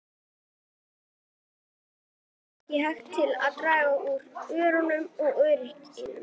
Það varð ekki til að draga úr óttanum og óörygginu.